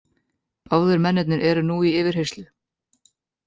Báðir mennirnir eru nú í yfirheyrslu